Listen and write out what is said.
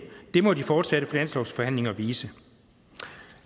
må de fortsatte finanslovsforhandlinger vise